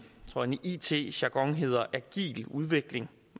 it jargon hedder agil udvikling